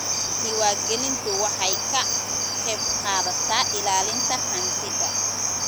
Diiwaangelintu waxay ka qaybqaadataa ilaalinta hantida.